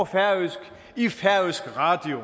færøsk i færøsk radio